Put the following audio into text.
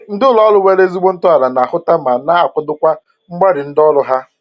Ndị ụlọ ọrụ nwere ezigbo ntọala na-ahụta ma na-akwadokwa mgbalị ndị ọrụ ha